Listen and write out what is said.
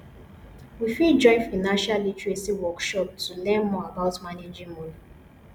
we fit join financial literacy workshops to learn more about managing money